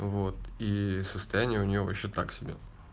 вот и состояние у него ещё так себе